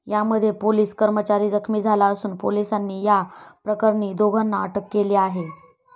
यामध्ये पोलिस कर्मचारी जखमी झाला असून, पोलिसांनी या प्रकरणी दोघांना अटक केली आहे.